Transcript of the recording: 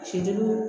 Ci jugu